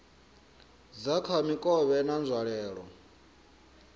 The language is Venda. dza kha mikovhe na nzwalelo